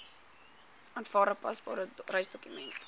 aanvaarbare paspoort reisdokument